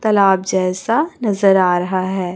तलाब जैसा नजर आ रहा है।